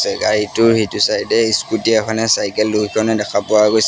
গাড়ীটোৰ সেইটো চাইডে স্কুটী এখনে চাইকেল দুইখনে দেখা পোৱা গৈছে।